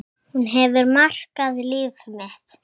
Hún hefur markað líf mitt.